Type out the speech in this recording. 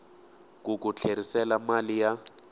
ku ku tlherisela mali ya